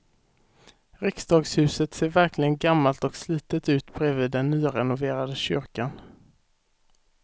Riksdagshuset ser verkligen gammalt och slitet ut bredvid den nyrenoverade kyrkan.